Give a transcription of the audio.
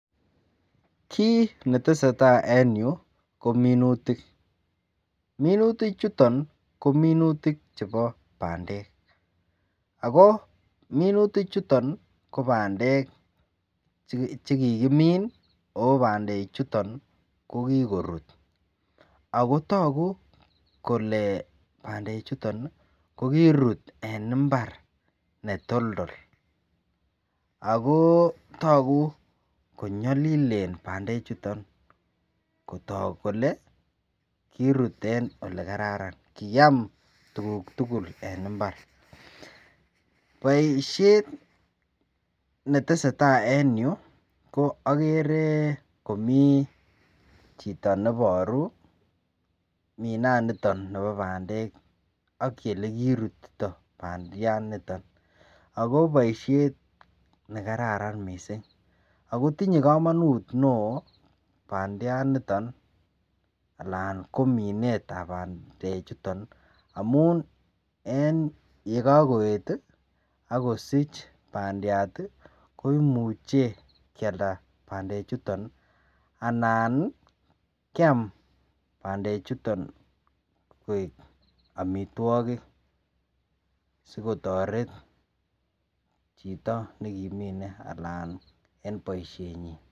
Kit netesetai en ireu kominutik. minutik chuton kominutik chebo bandek ako minutik chuton kobandek chekakimin ako bandek chuton kokikorut akotagub Kole bandek chuton kokirut en imbar neyoldol akotagu konyalilen bandek chuton Kotak Kole kirut en ole kararan ako kiyame tuguk tugul en imbar baishet netesetai en Yu ko agere Komi chito nebaru mina niton Nebo bandek AK yelekirutito bandiat niton ako baishet nekararan mising akotinye kamanut mising bandiat niton anan ko Minet ab bandek chuton amun en yekakoet akosich bandiat koimuche keyalda bandek chuton anan Kiam bandek chuton koik amitwogik sikotaret Chito nekimine ananaben baishenyin